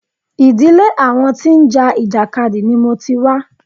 Ìdílé àwọn tí ń já ìjàkadì ni mo ti wá.